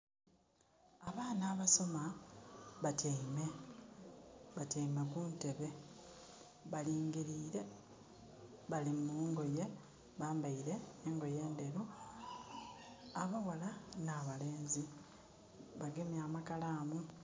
Abaana abasoma, batyaime. Batyaime kuntebe. Balingilire. Bali mungoye, bambaile engoye ndheru. Abaghala n'abalenzi, bagemye amakalaamu.